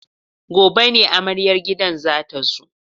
Gobe ne amaryar gidan za ta zo.